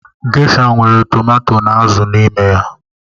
Gesha nwere tomato na azụ n'ime ya.